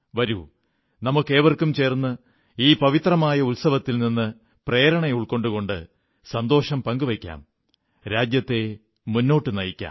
വരൂ നമുക്കേവർക്കും ചേർന്ന് ഈ പവിത്രമായ ഉത്സവങ്ങളിൽ നിന്ന് പ്രേരണ ഉൾക്കൊണ്ടുകൊണ്ട് സന്തോഷം പങ്കുവയ്ക്കാം രാജ്യത്തെ മുന്നോട്ടു നയിക്കാം